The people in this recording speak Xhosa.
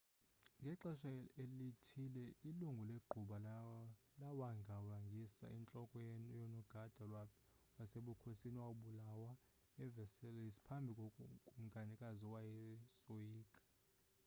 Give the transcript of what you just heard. ngaxesha lithile ilungu legquba lawangawangisa intloko yonogada wasebukhosini owabulawa eversailles phambi kokumkanikazi owayesoyika